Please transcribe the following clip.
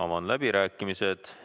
Avan läbirääkimised.